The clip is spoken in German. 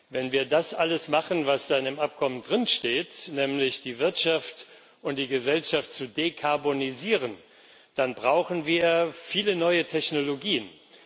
Wenn wir das alles machen, was in dem Abkommen steht, nämlich die Wirtschaft und die Gesellschaft zu dekarbonisieren, dann brauchen wir viele neue Technologien.